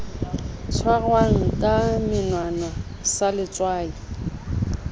tshwarwang ka menwana sa letswai